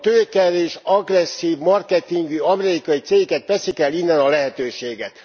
A tőkeerős, agresszív marketingű amerikai cégek veszik el innen a lehetőséget.